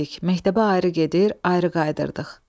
Məktəbə ayrı gedir, ayrı qayıdırdıq.